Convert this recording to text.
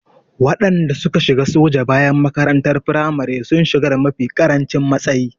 Waɗanda suka shiga soja bayan makarantar firamare sun shiga da mafi ƙarancin matsayi.